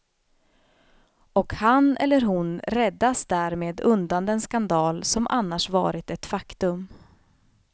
Och han eller hon räddas därmed undan den skandal som annars varit ett faktum.